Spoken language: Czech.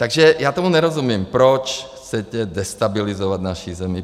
Takže já tomu nerozumím, proč chcete destabilizovat naši zemi.